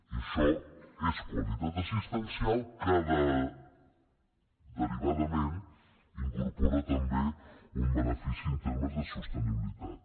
i això és qualitat assistencial que derivadament incorpora també un benefici en termes de sostenibilitat